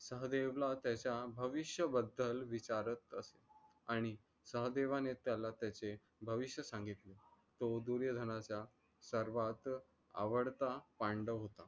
सह्देवला त्यचा भविष्य बद्दल विचारत असे. आणि सह्देवाने त्याला त्याचे भविष्य सांगितल. त्यो दुर्योधनाचा सर्वात आवडता पांडव होता.